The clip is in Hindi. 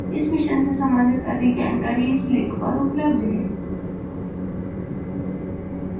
इस mission से संबंधित अधिक जानकारी इस link पर उपलब्ध है